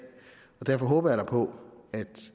derfor håber jeg da på at